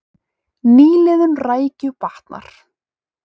Nýliðun rækju batnar